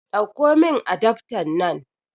Ɗakko min adaftan nan